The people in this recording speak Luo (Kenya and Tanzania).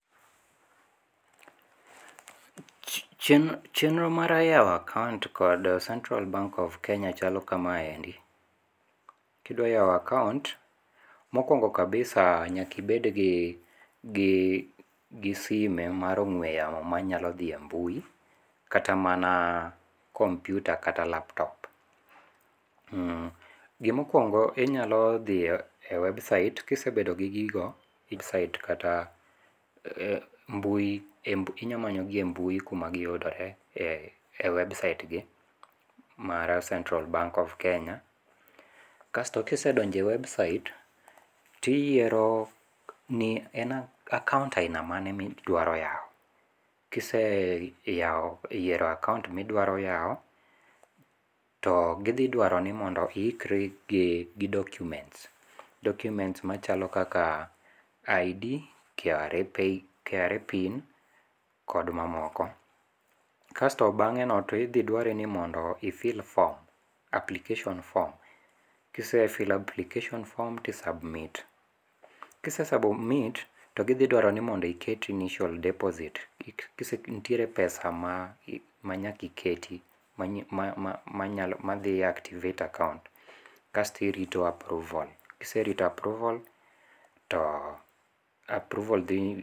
Chenro mar yawo a account kod central bank of Kenya chalo kamaendi, kidwa yawo account mokuong'o kabisa nyaki bed gi gi sime mar ong'we yamo manyalo dhie mbui kata mana computer kata laptop. Gimokuong'o inyalo dhie website kisebedo gigigo website kata mbui inya manyogie mbui kumaguyudore e website gi mar cental bank of Kenya. Kasto kisedonjo e website tiyiero ni en account ahina mane midwaro yao. Kise yiero account ma idwaro yao to githidwaro ni mondo ihikri gi documents, documents machalo kaka ID, KRA, KRA pin kod mamoko. Kasto bang'eno to idhi dware ni mondo i fill form, application form. Kise filo application form ti submit. Kise submit to githiduaro ni iket initial deposit. Nitiere pesa ma nyaka iketi madhi activate account kasto irito approval. Kiserito approval to approval